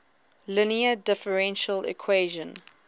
linear differential equation